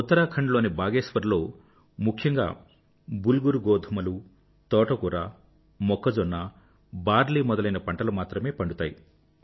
ఉత్తరాఖండ్ లోని బాగేశ్వర్ లో ముఖ్యంగా బుల్గురు గోధుమలు తోటకూర మొక్కజొన్న బార్లీ మొదలైన పంటలు మాత్రమే పండుతాయి